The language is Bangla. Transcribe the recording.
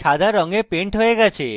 সাদা রঙে paint হয়ে গেছে